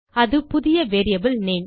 அது புதிய variable name